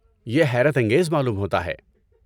یہ حیرت انگیز معلوم ہوتا ہے۔